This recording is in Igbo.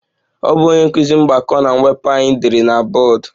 Ọ bụ onye nkụzi mgbakọ na mwepụ anyị dere na bọọdụ